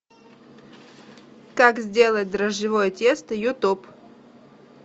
как сделать дрожжевое тесто ютуб